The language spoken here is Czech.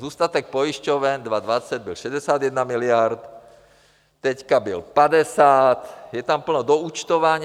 Zůstatek pojišťoven 2020 byl 61 miliard, teď byl 50, je tam plno doúčtování.